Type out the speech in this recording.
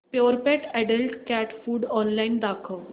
Purepet adult cat food online दाखव